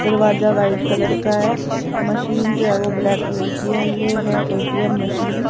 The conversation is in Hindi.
दरवाजा व्हाइट कलर का है मशीन जो है वो ब्लैक कलर की है ये है ए_टी_एम मशीन ।